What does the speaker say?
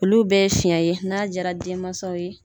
Olu bɛ fiɲɛ ye n'a diyara denmansaw ye.